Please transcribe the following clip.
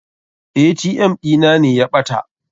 ATM ɗina ne ya ɓata.